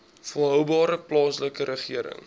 volhoubare plaaslike regering